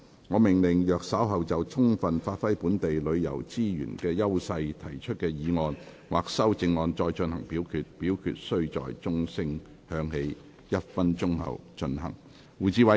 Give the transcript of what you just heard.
我命令若稍後就"充分發揮本地旅遊資源的優勢"所提出的議案或修正案再進行點名表決，表決須在鐘聲響起1分鐘後進行。